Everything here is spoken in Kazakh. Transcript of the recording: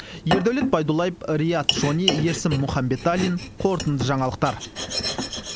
ердәулет байдуллаев риат шони ерсін мұханбеталин қорытынды жаңалықтар